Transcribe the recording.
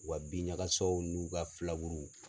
U ka bin ɲagasaw n'u ka filaburuw